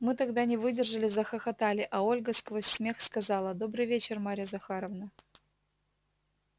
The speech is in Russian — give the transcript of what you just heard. мы тогда не выдержали захохотали а ольга сквозь смех сказала добрый вечер марья захаровна